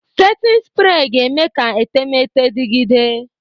Setin sprey ga-eme ka etemeete dịgide.